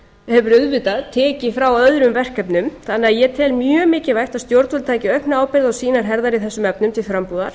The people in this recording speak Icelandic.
hefur auðvitað tekið frá öðrum verkefnum ég tel því mjög mikilvægt að stjórnvöld taki aukna ábyrgð á sínar herðar í þessum efnum til frambúðar